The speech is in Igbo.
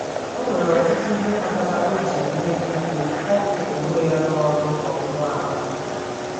Ọ nwere ọtụtụ ihe kpatara o ji nwee ike ịkpọpụ onwe ya n’ọrụ owuwu ahụ.